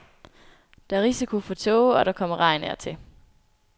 Der er risiko for tåge, og der kommer regn af og til.